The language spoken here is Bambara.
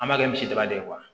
An b'a kɛ misidaba de ye